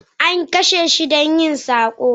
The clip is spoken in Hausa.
an kashe shi don yin sabo